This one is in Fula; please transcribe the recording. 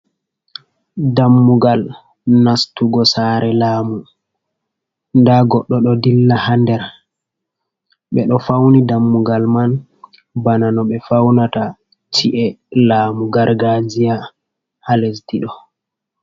Dammugal nastugo sare lamu , nda goɗɗo ɗo dilla ha nder, be ɗo fauni dammugal man bana no ɓe faunata chi’e lamu gargajiya ha lesdiɗo.